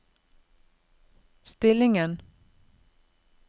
stillingen